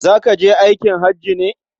Za ka je aikin haji ne?